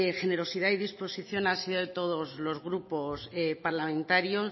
generosidad y disposición ha sido de todos los grupos parlamentarios